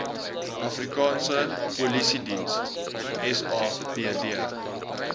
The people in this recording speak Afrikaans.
afrikaanse polisiediens sapd